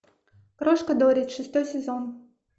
крошка доррит шестой сезон